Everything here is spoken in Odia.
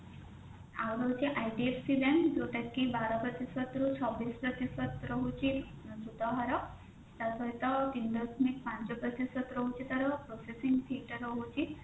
ଆଉ ରହୁଛି IDFC bank ଯୋଉଟା କି ବାର ପ୍ରତିଶତ ରୁ ଛବିଶ ପ୍ରତିଶତ ରହୁଛି ସୁଧହାର ତା ସହିତ ତିନି ଦଶମିକ ପାଞ୍ଚ ପ୍ରତିଶତ ରହୁଛି ତାର processing fee ଟା ରହୁଛି